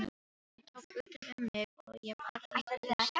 Hann tók utan um mig og ég barðist við grátinn.